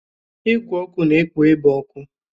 Igwe ọkụ na-ekpo ebe ọkụ.